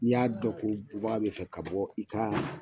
N'i y'a dɔn ko bubaga bɛ fɛ ka bɔ i ka